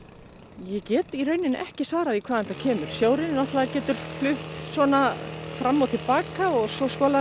ég get í rauninni ekki svarað því hvaðan þetta kemur sjórinn getur flutt svona fram og til baka og svo skolar hann